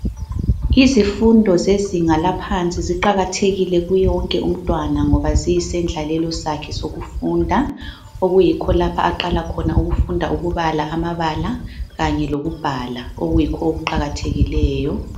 Izifundo zezinga laphansi ziqakathekile kuwo wonke umtwana ngoba ziyisendlalelo sakhe sokufunda okuyikho lapha aqala khona ukufunda ukubala amabala kanye lokubhala okuyikho okuqakathekileyo.